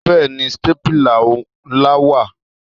Bẹ́ẹ̀ni, stépìlà ńlá wà.